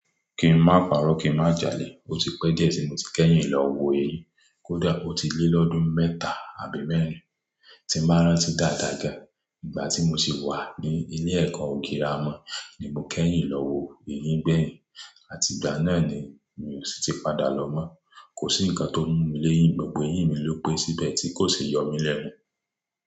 Kí n má parọ́, kí n má jalè, ó ti pẹ́ díẹ̀ tí mo ti kẹ́yìn lọ wo eyín. Ó ti lé lọ́dún mẹ́ta àbí mẹ́rin tí màá rán tí dàda ga. Ìgbà tí mo sì wà ní ilé ẹ̀kọ́ ògírà mọ́ ni mo kẹ́yìn lọ wo eyín bẹ́yìn, àti ìgbà náà ni mi ò sì ti padà lọ mọ́. Kò sí ǹkan tó mú mi léyín, gbogbo eyín mi ló pé síbẹ̀ tí kò sì yọ mí lẹ́nu.